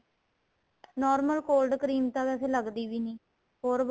normal cold cream ਤਾਂ ਵੈਸੇ ਲੱਗਦੀ ਦੀ ਵੀ ਨਹੀਂ ਹੋਰ